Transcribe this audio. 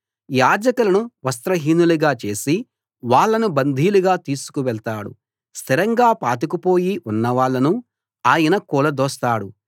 యాజకులను వస్త్రహీనులనుగా చేసి వాళ్ళను బందీలుగా తీసుకువెళ్తాడు స్థిరంగా పాతుకుపోయి ఉన్నవాళ్ళను ఆయన కూలదోస్తాడు